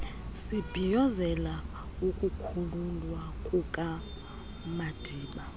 sibhiyozela ukukhululwa kukamadiba